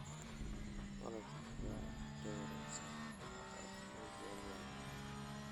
Malabku waa cunto wanaagsan oo aad loo jecel yahay